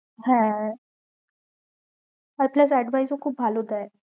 হ্যাঁ হয়ে plus advice ও খুব ভালো দেয়